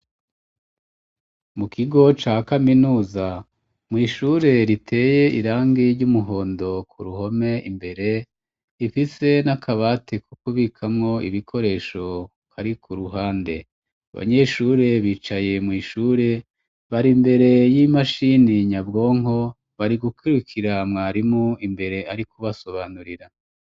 Mu kigo ca kaminuza mw' ishure riteye irangi ry'umuhondo ku ruhome imbere, ifise n'akabati ko kubikamwo ibikoresho, kari ku ruhande. Abanyeshure bicaye mw' ishure, bari mbere y'imashini nyabwonko, bari gukwirukira mwarimu imbere ari kubasobanurira.